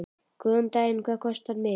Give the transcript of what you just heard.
Góðan dag. Hvað kostar miðinn?